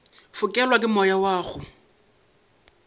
fokelwa ke moya wa go